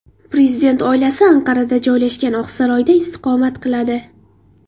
Prezident oilasi Anqarada joylashgan Oqsaroyda istiqomat qiladi.